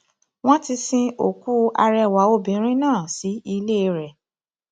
wọn ti sin òkú arẹwà obìnrin náà sí ilé rẹ